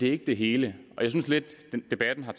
er ikke det hele og jeg synes lidt at debatten har